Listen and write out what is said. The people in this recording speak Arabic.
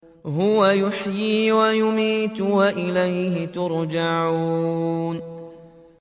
هُوَ يُحْيِي وَيُمِيتُ وَإِلَيْهِ تُرْجَعُونَ